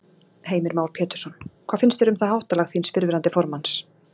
Heimir Már Pétursson: Hvað finnst þér um það háttalag þíns fyrrverandi formanns?